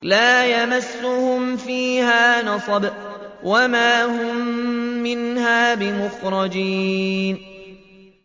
لَا يَمَسُّهُمْ فِيهَا نَصَبٌ وَمَا هُم مِّنْهَا بِمُخْرَجِينَ